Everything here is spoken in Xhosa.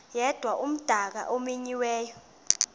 yedwa umdaka omenyiweyo